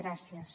gràcies